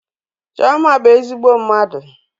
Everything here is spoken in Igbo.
Chioma bụ ezigbo mmadụ.